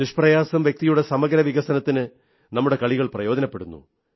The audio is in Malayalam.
നിഷ്പ്രയാസം വ്യക്തിയുടെ സമഗ്ര വികസനത്തിന് നമ്മുടെ കളികൾ പ്രയോജനപ്പെടുന്നു